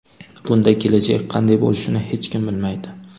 Bunda kelajak qanday bo‘lishini hech kim bilmaydi.